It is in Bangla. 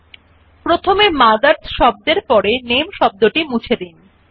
আপনি কাট এবং পাস্তে বৈশিষ্ট্যদুটি একটি ডকুমেন্ট এর এক জায়গা থেকে অন্য জায়গায় সরানোর জন্য ব্যবহার করতে পারেন